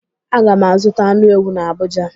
Aga m azụta anụ ewu n'Abụja.